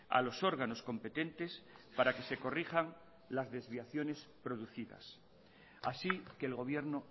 a los órganos competentes para que se corrijan las desviaciones producidas así que el gobierno